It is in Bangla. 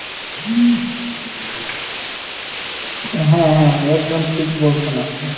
হ্যাঁ হ্যাঁ একদম ঠিক বলছেন আপনি।